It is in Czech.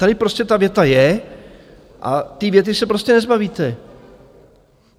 Tady prostě ta věta je, a té věty se prostě nezbavíte.